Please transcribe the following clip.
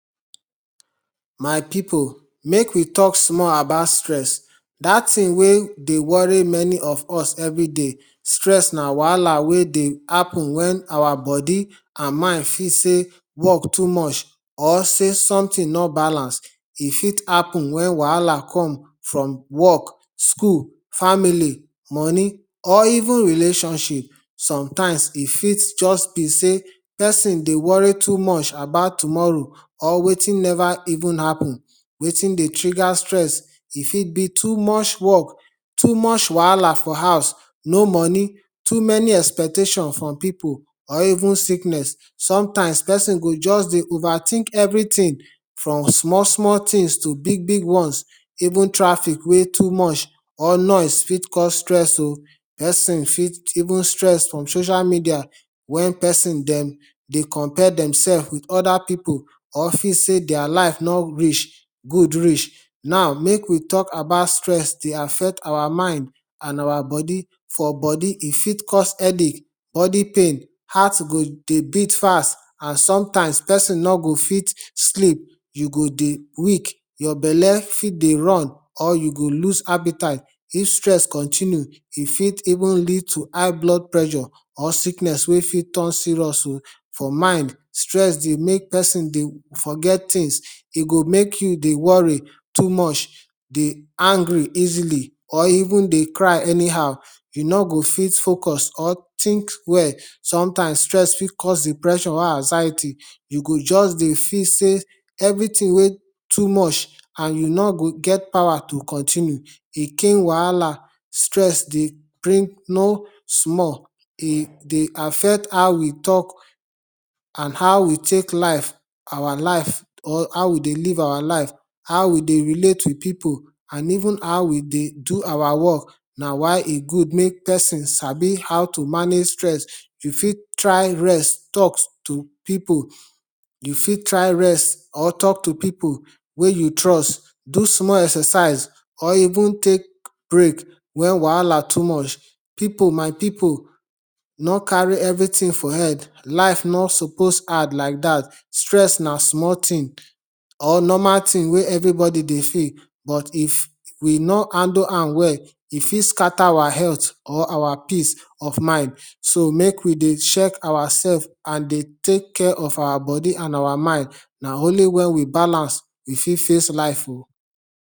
my people make we talk small about stress, dat thing wey dey worry many of us every day. stress na wahala wey dey happen when our body and mind fit sey work too much or sey something no balance, e fit happen when wahala come from work, school, family, money or even relationship. sometimes e fit just be sey person dey worry too much about tomorrow or wetin never even happen wetin dey trigger stress e fit be too much work too much wahala for house no money too many expectation from people or even sickness, sometime person go just dey overthink everything from small-small things to big-big ones, even traffic wey too much or noise fit cause stress o, person fit, even stress from social media when person dem dey compare dem self with other people or feel sey dia life no reach good reach now, make we talk about stress dey affect our mind and our body, for body e fit cause headache, body pain, heart go dey beat fast and sometimes, person no go fit sleep, you go dey weak, your bele fit dey run or you go loose appetite if stress continue e fit even lead to high blood pressure or sickness wey fit turn serious o for mind stress dey make person dey forget things e go make you dey worry too much dey angry easily or even dey cry anyhow you no go fit focus or think well sometimes stress fit cause depression wey society you go just dey feel sey everything wey too much and you no go get power to continue e wahala, stress dey bring no small, e dey affect how we talk and how we take life, our life or how we dey live our life, how we dey relate with people, even how we dey do our work why e good make person sabi how to manage stress you fit try rest, talk to people you fit try rest or talk to people wey you trust do small exercise or even take break when wahala too much. people, my people no carry everything for head life no suppose hard like dat stress na small thing or normal thing wey everybody dey feel but if we no handle wan well e fit scatter our health or our peace of mind so make we dey check ourself and dey take care of our body and our mind, na only when we balance we fit face life o